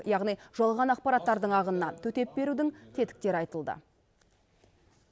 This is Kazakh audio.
яғни жалған ақпараттардың ағынына төтеп берудің тетіктері айтылды